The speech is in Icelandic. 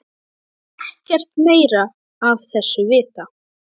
Ég vil ekkert meira af þessu vita.